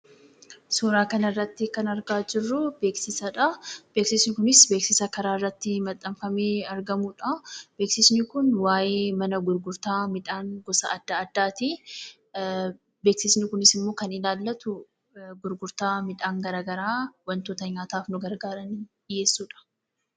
Suuraa kana irratti kan argaa jirru beeksisadha. Beeksisni Kunis beeksisa karaa irratti maxanfamee argamudha. Beeksisni Kun waa'ee mana gurgurtaa midhaan gosa adda addaati. Beeksisni Kunis kan inni ilaallatu gurgurtaa midhaan gara garaa wantoota nyaataaf nu gargaaran nuuf dhiheessudha.